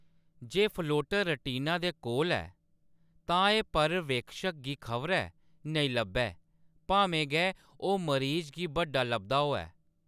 जे floater retina दे कोल ऐ, तां एह्‌‌ पर्यवेक्षक गी खबरै नेईं लब्भै , भामें गै ओह्‌‌ मरीज गी बड्डा लभदा होऐ।